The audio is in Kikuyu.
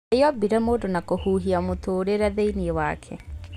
Ngai ombire mũndũ na kũhihia mũtũrĩre thĩiniĩ wake